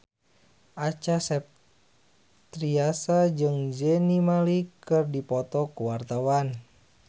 Acha Septriasa jeung Zayn Malik keur dipoto ku wartawan